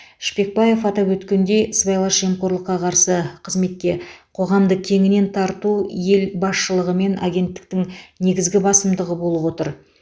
шпекбаев атап өткендей сыбайлас жемқорлыққа қарсы қызметке қоғамды кеңінен тарту ел басшылығы мен агенттіктің негізгі басымдығы болып отыр